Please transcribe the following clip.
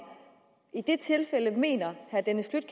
i de tilfælde mener herre dennis